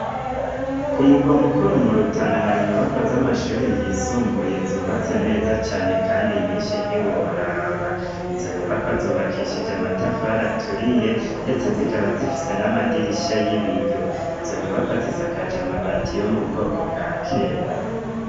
Ku mugwa mukuru mu rutana hari nyubakwa z'amashuri yisumbuye zubatse neza cane kandi nyinshi ntiworaba izo nyubakwa zubakishije amatafara turiye ndetse zikaba zifise n'amadirisha y'ibiyo izo nyubakwa zisakaja mabati yo mu bwoko bwa kera.